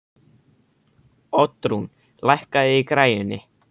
Oddrún, lækkaðu í græjunum.